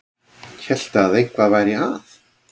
Hélt að eitthvað væri að.